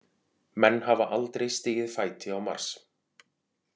Menn hafa aldrei stigið fæti á Mars.